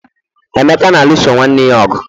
emeka na-alụso nwanne ya ọgụ